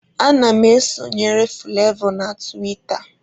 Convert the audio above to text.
Ana m esonyere Fụlavọ na tiwita.